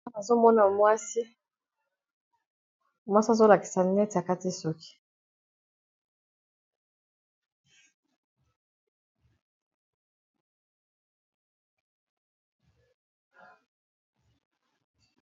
na azomona mwasi mwasi azolakisa neti akati soki